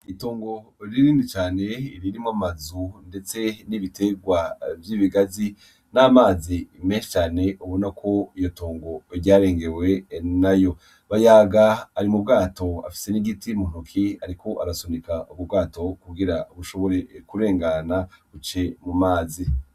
Itongo rinini cane ririmwo amazu ndetse n'ibiterwa vy'ibigazi n'amazi menshi cane ubonako iyo tongo ryarengewe nayo Bayaga ari mu bwato afise n'igiti mu ntoke ariko arasunika ubwo bwato kugira bushobore kurengana buciye mu mazi